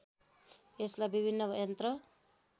यसलाई विभिन्न यन्त्र